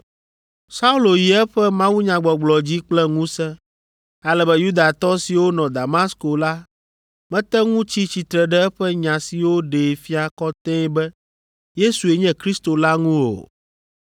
Saulo yi eƒe mawunyagbɔgblɔ dzi kple ŋusẽ, ale be Yudatɔ siwo nɔ Damasko la mete ŋu tsi tsitre ɖe eƒe nya siwo ɖee fia kɔtɛe be Yesue nye Kristo la ŋu o.